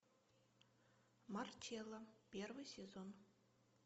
марчелла первый сезон